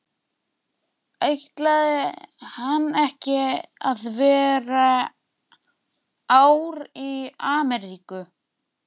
Ætlaði hann ekki að vera ár í Ameríku?